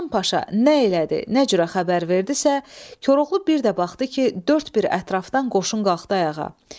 Hasan Paşa nə elədi, nə cürə xəbər verdisə, Koroğlu bir də baxdı ki, dörd bir ətrafdan qoşun qalxdı ayağa.